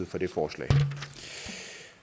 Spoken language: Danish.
for det forslag